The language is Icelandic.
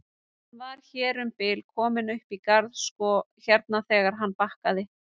Hann var hér um bil kominn upp í garðinn sko hérna þegar hann bakkaði.